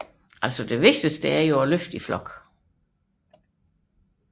Det gælder om at løfte i flok